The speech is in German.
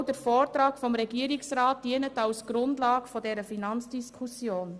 Auch der Vortrag des Regierungsrats dient als Grundlage für diese Finanzdiskussion.